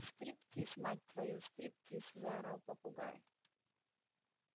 стриптиз мать твою стриптиз заорал попугай